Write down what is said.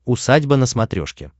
усадьба на смотрешке